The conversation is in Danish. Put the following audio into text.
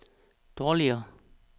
dårligere